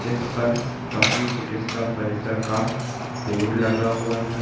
जिस पर पसू चिकित्सा परिसर का बोर्ड लगा हुआ है।